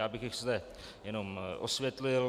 Já bych ji zde jenom osvětlil.